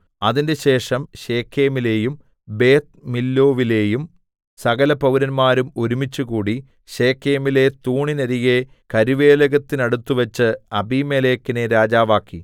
അതിന്‍റെശേഷം ശെഖേമിലെയും ബേത് മില്ലോവിലേയും സകലപൌരന്മാരും ഒരുമിച്ചുകൂടി ശെഖേമിലെ തൂണിന്നരികെ കരുവേലകത്തിനടുത്തുവച്ച് അബീമേലെക്കിനെ രാജാവാക്കി